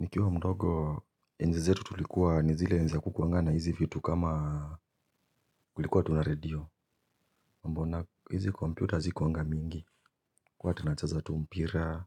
Nikiwa mdogo enzi zetu tulikuwa ni zile enzi hakukuwanga na hizi vitu kama kulikuwa tu na redio. Mambo na hizi computer hazikuwanga mingi tulikuwa tunacheza tu mpira